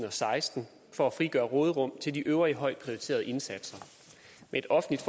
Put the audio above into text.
og seksten for at frigøre et råderum til de øvrige højt prioriterede indsatser med et offentligt